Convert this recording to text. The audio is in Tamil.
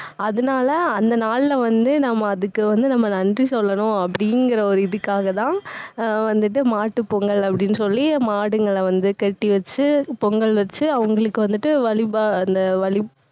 அதனால, அந்த நாள்ல வந்து, நம்ம அதுக்கு வந்து நம்ம நன்றி சொல்லணும், அப்படிங்கற ஒரு இதுக்காகதான் அஹ் வந்துட்டு மாட்டுப்பொங்கல் அப்படின்னு சொல்லி மாடுங்களை வந்து கட்டி வச்சு பொங்கல் வெச்சு அவுங்களுக்கு வந்துட்டு வழிப~அந்த வழி